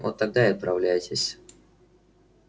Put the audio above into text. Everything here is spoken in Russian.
вот тогда и отправляйтесь